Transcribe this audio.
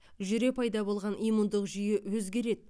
жүре пайда болған иммундық жүйе өзгереді